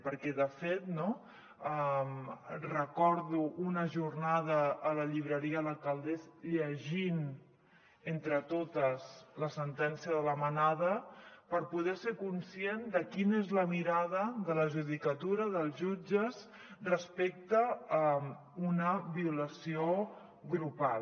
perquè de fet recordo una jornada a la llibreria calders llegint entre totes la sentència de la manada per poder ser conscient de quina és la mirada de la judicatura dels jutges respecte a una violació grupal